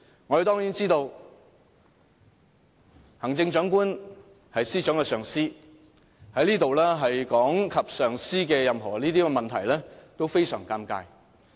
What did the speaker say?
我們當然知道行政長官是司長的上司，在這裏提及上司任何問題，都非常尷尬。